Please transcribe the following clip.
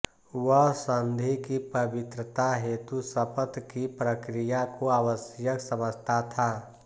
वह संधि की पवित्रता हेतु शपथ की प्रक्रिया को आवश्यक समझता था